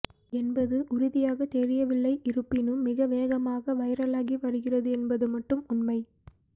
என்பது உறுதியாக தெரியவில்லை இருப்பினும் மிக வேகமாக வைரலாகி வருகிறது என்பது மட்டும் உண்மை